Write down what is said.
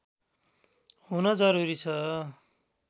हुन जरूरी छ